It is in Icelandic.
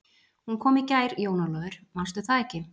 Hún kom í gær Jón Ólafur, mannstu það ekki?